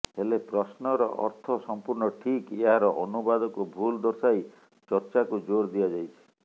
ହେଲେ ପ୍ରଶ୍ନର ଅର୍ଥ ସମ୍ପୂର୍ଣ୍ଣ ଠିକ୍ ଏହାର ଅନୁବାଦକୁ ଭୁଲ ଦର୍ଶାଇ ଚର୍ଚ୍ଚାକୁ ଜୋର ଦିଆଯାଇଛି